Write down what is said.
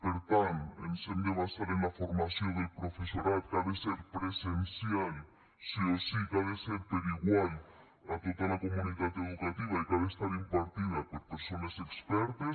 per tant ens hem de basar en la formació del professorat que ha de ser presencial sí o sí que ha de ser per igual a tota la comunitat educativa i que ha de ser impartida per persones expertes